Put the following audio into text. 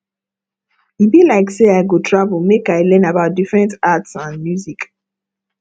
e be like sey i go travel make i learn about different art and music